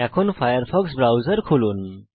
এখন Firefox browser খুলুন